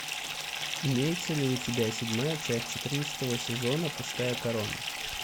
имеется ли у тебя седьмая часть четырнадцатого сезона пустая корона